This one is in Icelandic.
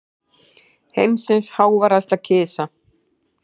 Heimsins háværasta kisa